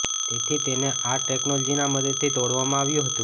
તેથી તેને આ ટેકનોલોજીના મદદથી તોડવામાં આવ્યું હતું